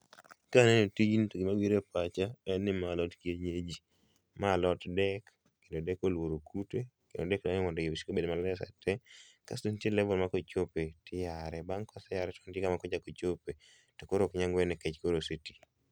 Kaneno tijni to gima biro e pacha en ni ma alot kienyeji. Ma alot dek kendo dek oluoro kute, kendo dek dwani mondo puodho obed maler sate. Kasto nitie level ma kochope tiyare, bang' koseyare to nitie kama nyaka ochope to koro ok nyal ng'wede nikech koro osetii